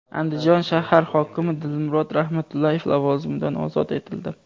Andijon shahar hokimi Dilmurod Rahmatullayev lavozimidan ozod etildi.